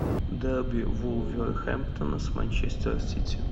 дерби вулверхэмптона с манчестер сити